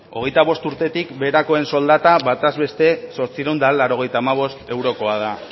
hogeita bost urtetik beherakoen soldataz bataz beste zortziehun eta laurogeita hamabost eurokoa da